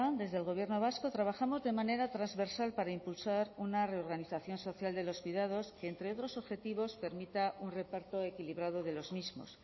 desde el gobierno vasco trabajamos de manera transversal para impulsar una reorganización social de los cuidados que entre otros objetivos permita un reparto equilibrado de los mismos